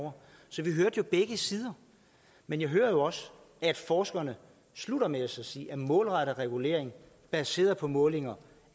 over så vi hørte jo begge sider men jeg hører også at forskerne slutter med så at sige at målrettet regulering baseret på målinger